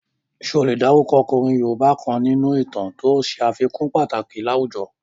Ṣé o lè dárúkọ ọkùnrin yoòbá kan nínú ìtàn to ṣe àfikún pàtàkì láwùjọ?